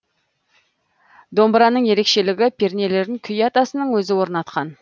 домбыраның ерекшелігі пернелерін күй атасының өзі орнатқан